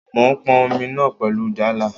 Mò n pọn Omi náà pẹ̀lú Jálá